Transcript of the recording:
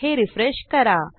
हे रिफ्रेश करा